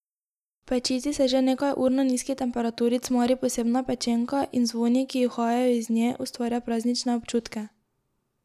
V pečici se že nekaj ur na nizki temperaturi cmari posebna pečenka in z vonji, ki uhajajo iz nje, ustvarja praznične občutke.